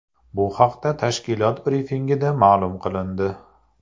Bu haqda tashkilot brifingida ma’lum qilindi .